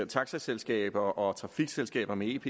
taxaselskaber og trafikselskaber med ep